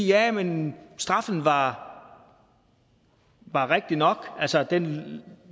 ja men straffen var rigtig nok altså den